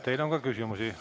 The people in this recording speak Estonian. Teile on ka küsimusi.